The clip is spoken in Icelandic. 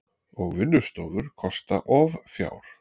Og vinnustofur kosta of fjár.